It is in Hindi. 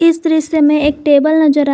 इस दृश्य में एक टेबल नजर आ--